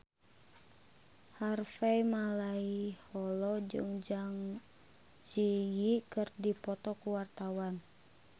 Harvey Malaiholo jeung Zang Zi Yi keur dipoto ku wartawan